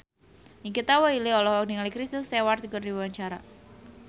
Nikita Willy olohok ningali Kristen Stewart keur diwawancara